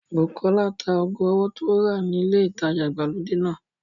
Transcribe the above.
Bùkọ́lá ta ago ọwọ́ tí ó rà ni ilé ìtajà ìgbàlódé náà